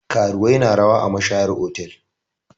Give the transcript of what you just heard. Karuwai na rawa a mashayar otal.